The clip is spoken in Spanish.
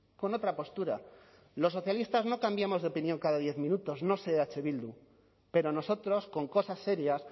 con otra postura los socialistas no cambiamos de opinión cada diez minutos no sé eh bildu pero nosotros con cosas serias